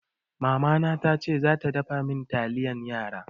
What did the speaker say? Mamana tace za ta dafa min taliyan yara.